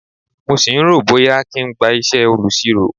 Mo sì ń rò ó bóyá kí n gba isẹ olusiro.